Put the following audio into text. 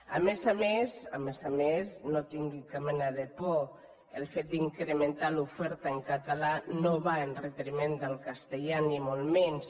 a més a més a més a més no tingui cap mena de por el fet d’incrementar l’oferta en català no va en detriment del castellà ni molt menys